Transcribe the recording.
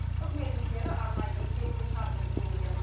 үкімет мүшелері арнайы есеп қисап жүргізген екен